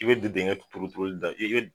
I bɛ don dingɛ turu turuli de la, i be